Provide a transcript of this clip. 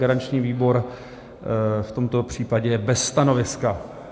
Garanční výbor v tomto případě je bez stanoviska.